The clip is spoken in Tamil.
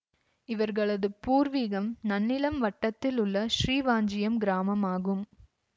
இவர்களது பூர்வீகம் நன்னிலம் வட்டத்தில் உள்ள ஸ்ரீவாஞ்சியம் கிராமம் ஆகும்